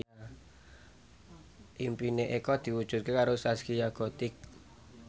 impine Eko diwujudke karo Zaskia Gotik